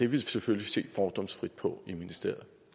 vil selvfølgelig se fordomsfrit på i ministeriet